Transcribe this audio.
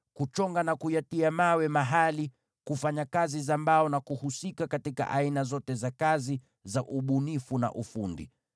kuchonga vito na kuvitia mahali, kufanya ufundi kwa mbao, na kujishughulisha na aina zote za ufundi wa kupendeza.